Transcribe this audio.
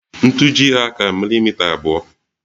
Ntuji' hà ka milimita abụọ